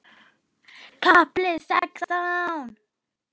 KAFLI SEXTÁN